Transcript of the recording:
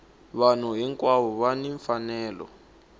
vanhu hinkwavo va ni mfanelo